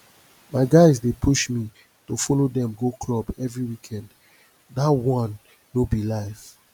my guys dey push me to follow dem go club every weekend dat one no be life